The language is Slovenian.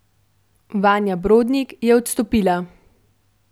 Vanja Brodnik je odstopila.